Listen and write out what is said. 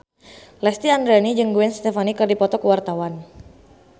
Lesti Andryani jeung Gwen Stefani keur dipoto ku wartawan